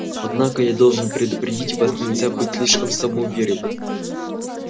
однако я должен предупредить вас нельзя быть слишком самоуверенным